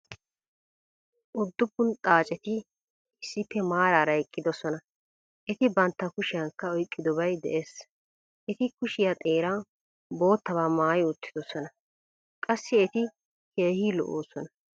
Udduppun xaaceti issippe maarara eqqidososna. eti bantta kushiyankka oyqqidobay des. eti kushiya xeeran boottaba maayi uttidosona .qassi eti keehi lo'oosona.